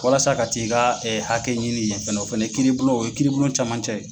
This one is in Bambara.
Walasa ka t'i ka hakɛ ɲini yen fana, o fana ye kiribulon, o ye kiribulon caman cɛ ye.